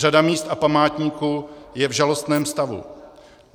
Řada míst a památníků je v žalostném stavu.